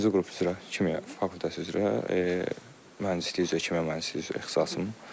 Birinci qrup üzrə, kimya fakültəsi üzrə, mühəndislik üzrə, kimya mühəndisliyi ixtisasım.